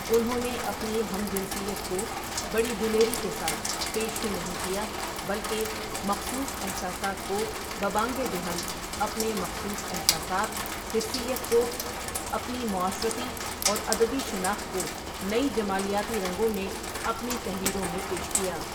انھون نے اپنی ھم جنسیت کو بڑی دلیری کےساتھ پیش ہی نہیں کیا بلکہ مخصوص احساسات کوببانگ دہل اپنے مخصوص احساسات، حسیّت کو اپنی معاشرتی اور ادبی شناخت کونئی جمالیاتی رنگوں میں اپنی تحریروں میں پیش کیا ۔